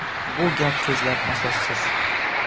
Bu gap-so‘zlar asossiz.